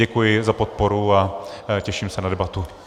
Děkuji za podporu a těším se na debatu.